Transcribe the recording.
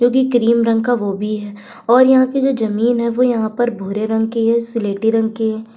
क्योंकि क्रीम रंग का वो भी है और यहां कि जो जमीन है वो यहाँ पर भूरे रंग की है स्लेटी रंग की है।